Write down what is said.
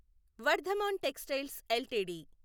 Vardhaman textiles LTD